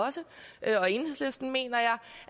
enhedslisten mener jeg